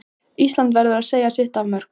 Ísland verður að leggja sitt af mörkum